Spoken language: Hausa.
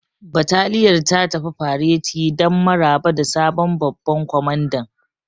Bataliyar ta tafi fareti don maraba da sabon babban kwamandan.